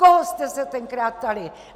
Koho jste se tenkrát ptali?